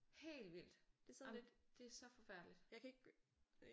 Helt vildt jamen det er så forfærdeligt